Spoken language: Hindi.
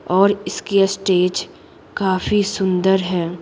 और इसकी स्टेज काफी सुंदर है।